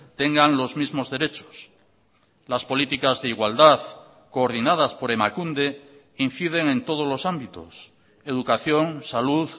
tengan los mismos derechos las políticas de igualdad coordinadas por emakunde inciden en todos los ámbitos educación salud